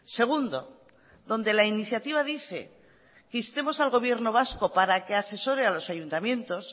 segundo donde la iniciativa dice que instemos al gobierno vasco para que asesore a los ayuntamientos